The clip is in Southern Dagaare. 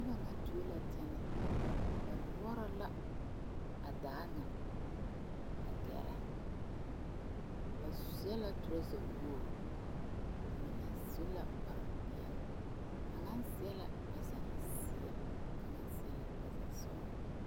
Noba ŋa tuo la tɛnɛɛ ba koɔrɔ la a daa ŋa a gɛrɛ ba seɛ la toraza woo ba mine su la kpar peɛle kaŋa seɛ la toraza seɛ kaŋa seɛ la toraza sɔgelaa